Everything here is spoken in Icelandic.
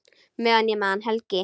Meðan ég man, Helgi.